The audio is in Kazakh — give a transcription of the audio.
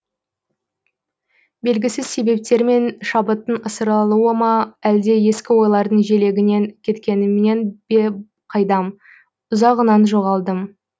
белгісіз себептермен шабыттың ысырылуы ма әлде ескі ойлардың желегінен кеткенімнен бе қайдам ұзағынан жоғалдым